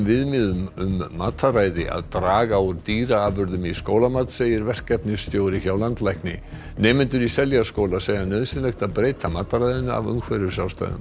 viðmiðum um mataræði að draga úr dýraafurðum í skólamat segir verkefnastjóri hjá landlækni nemendur í Seljaskóla segja nauðsynlegt að breyta mataræðinu af umhverfisástæðum